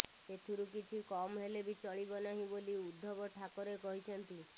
ସେଥିରୁ କିଛି କମ୍ ହେଲେ ବି ଚଳିବ ନାହିଁ ବୋଲି ଉଦ୍ଧବ ଠାକରେ କହିଛନ୍ତି